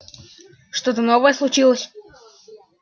что-то новое случилось